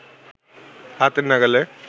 হাতের নাগালে